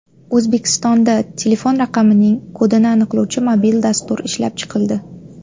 O‘zbekistonda telefon raqamining kodini aniqlovchi mobil dastur ishlab chiqildi.